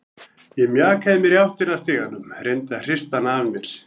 Ég mjakaði mér í áttina að stiganum, reyndi að hrista hana af mér.